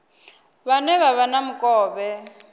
vhane vha vha na mukovhe